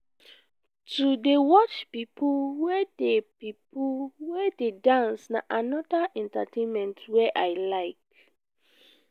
to dey watch pipo wey dey pipo wey dey dance na anoda entertainment wey i like.